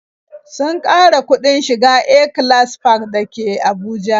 Sun ƙara kuɗin shiga A-class park dake Abuja